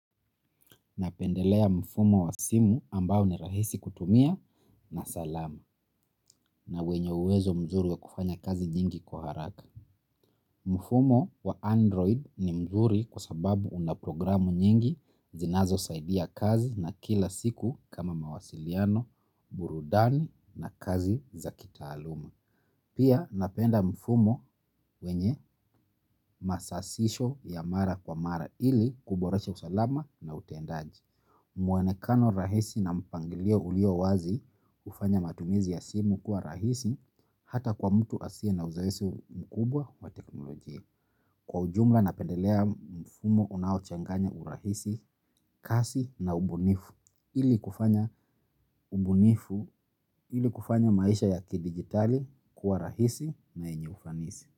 Napendelea mfumo wa simu ambao ni rahisi kutumia na salama na wenye uwezo mzuri wa kufanya kazi nyingi kwa haraka. Mfumo wa android ni mzuri kwa sababu una programu nyingi zinazo saidia kazi na kila siku kama mawasiliano burudani na kazi za kitaaluma. Pia napenda mfumo wenye masasisho ya mara kwa mara ili kuboresha usalama na utendaji. Muonekano rahisi na mpangilio ulio wazi hufanya matumizi ya simu kuwa rahisi hata kwa mtu asiye na uzoesi mkubwa wa teknolojia. Kwa ujumla na pendelea mfumo unao changanya urahisi kasi na ubunifu ili kufanya ubunifu ili kufanya maisha ya kidigitali kuwa rahisi na yenye ufanisi.